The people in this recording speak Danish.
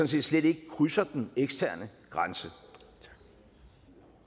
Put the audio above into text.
set slet ikke krydser den eksterne grænse